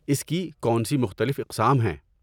اس کی کون سی مختلف اقسام ہیں؟